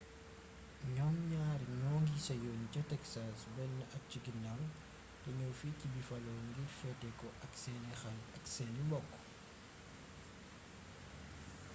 ñoom ñaar ñoo ngi seyoon ca texas benn at ci ginnaaw te ñëw fii ci buffalo ngir feete ko ak seeni xarit ak seeni mbokk